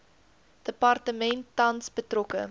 departement tans betrokke